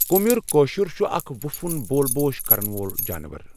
قُمیر کٲشُر چھ اَکھ وُپھٕوُن بول بوش کروُن جاناوارَن ۔